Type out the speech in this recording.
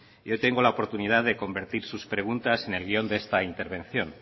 yo tengo la oportunidad de convertir sus preguntas en el guión de esta intervención